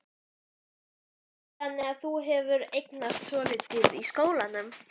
Heimir: Þannig að þú hefur einangrast svolítið í skólanum?